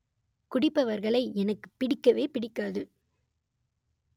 குடிப்பவர்களை எனக்குப் பிடிக்கவே பிடிக்காது